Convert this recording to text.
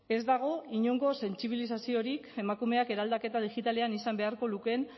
ez dago inongo sentsibilizaziorik emakumeak eraldaketa digitalean izan beharko lukeen